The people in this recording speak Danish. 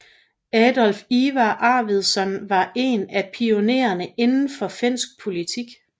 Adolf Ivar Arwidsson var en af pionererne inden for finsk politik